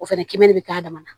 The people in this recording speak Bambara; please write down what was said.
O fɛnɛ kɛmɛn de bi k'a dama na